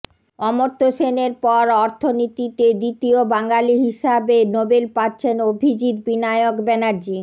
অমর্ত্য সেনের পর অর্থনীতিতে দ্বিতীয় বাঙালি হিসাবে নোবেল পাচ্ছেন অভিজিৎ বিনায়ক ব্যানার্জি